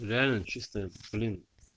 реально чистая блин